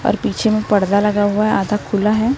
और पीछे में पर्दा लगा हुआ है आधा खुला है।